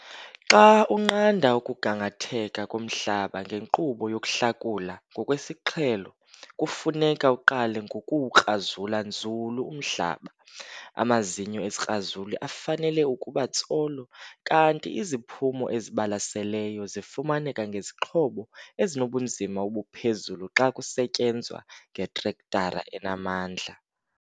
Xa unqanda ukugangatheka komhlaba ngenkqubo yokuhlakula ngokwesiqhelo kufuneka uqale ngokuwukrazula nzulu umhlaba. Amazinyo esikrazuli afanele ukuba tsolo kanti iziphumo ezibalaseleyo zifumaneka ngezixhobo ezinobunzima obuphezulu xa kusetyenzwa ngetrektara enamandla.